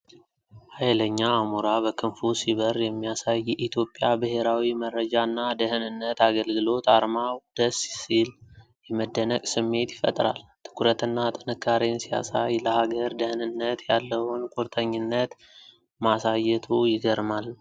ኃይለኛ አሞራ በክንፉ ሲበር የሚያሳይ፣ የኢትዮጵያ ብሔራዊ መረጃና ደህንነት አገልግሎት አርማው ደስ ሲል፣ የመደነቅ ስሜት ይፈጥራል። ትኩረትና ጥንካሬን ሲያሳይ፣ ለሀገር ደህንነት ያለውን ቁርጠኝነት ማሳየቱ ይገርማል።